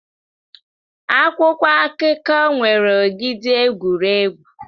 Akwụkwọ akụkọ nwere ogidi egwuregwu.